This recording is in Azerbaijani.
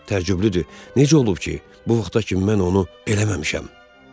Təəccüblüdür, necə olub ki, bu vaxta kimi mən onu eləməmişəm.